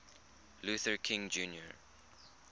luther king jr